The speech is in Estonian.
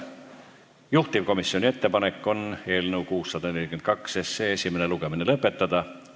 Juhtivkomisjoni ettepanek on eelnõu 642 esimene lugemine lõpetada.